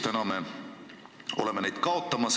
Täna me oleme neid kaotamas.